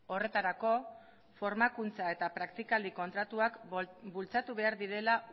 horretarako formakuntza eta praktika kontratuak bultzatu behar direla